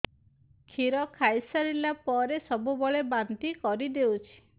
କ୍ଷୀର ଖାଇସାରିଲା ପରେ ସବୁବେଳେ ବାନ୍ତି କରିଦେଉଛି